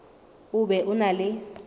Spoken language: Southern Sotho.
o be o na le